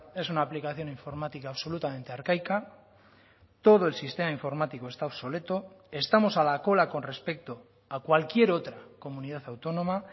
es una aplicación informática absolutamente arcaica todo el sistema informático está obsoleto estamos a la cola con respecto a cualquier otra comunidad autónoma